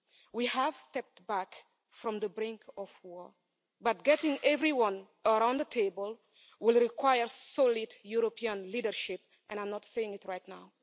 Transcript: We have stepped back from the brink of war but getting everyone around the table will require solid European leadership, and I'm not seeing it right now.